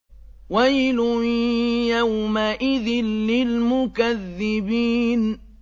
وَيْلٌ يَوْمَئِذٍ لِّلْمُكَذِّبِينَ